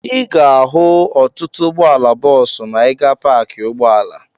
Ị ga-ahụ ọtụtụ ụgbọala bọọsụ ma ị gaa paakị ụgbọala.